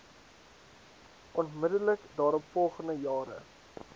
onmiddellik daaropvolgende jare